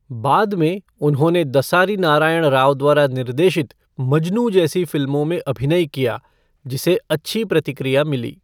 बाद में, उन्होंने दसारी नारायण राव द्वारा निर्देशित मजनू जैसी फिल्मों में अभिनय किया, जिसे अच्छी प्रतिक्रिया मिली।